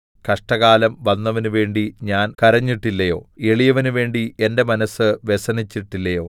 കഷ്ടകാലം വന്നവനുവേണ്ടി ഞാൻ കരഞ്ഞിട്ടില്ലയോ എളിയവനു വേണ്ടി എന്റെ മനസ്സ് വ്യസനിച്ചിട്ടില്ലയോ